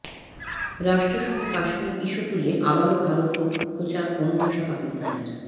রাষ্ট্রসংঘে Kashmir issue তুলে আবারও ভারতকে খোঁচা কোণঠাসা পাকিস্তানের